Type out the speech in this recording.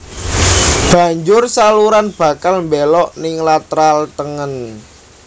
Banjur saluran bakal mbelok ning lateral tengen